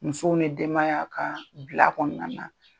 Muso ni denbaya k'a bila a kɔnɔna na.